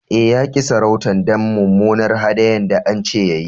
Eh, ya ki sarautan dan mumunar hadayan da an ce ya yi.